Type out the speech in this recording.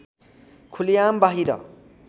खुलेआम बाहिर